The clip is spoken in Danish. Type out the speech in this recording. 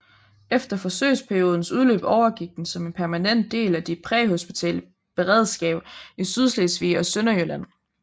Efter forsøgsperiodens udløb overgik den som en permanent del af de præhospitale beredskab i Sydslesvig og Sønderjylland